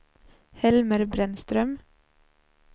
Helmer Brännström